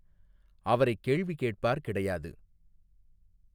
அவரை கேள்வி கேட்பார் கிடையாது.